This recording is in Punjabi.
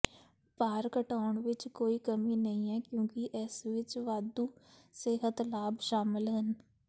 ਭਾਰ ਘਟਾਉਣ ਵਿਚ ਕੋਈ ਕਮੀ ਨਹੀਂ ਹੈ ਕਿਉਂਕਿ ਇਸ ਵਿਚ ਵਾਧੂ ਸਿਹਤ ਲਾਭ ਸ਼ਾਮਲ ਹਨ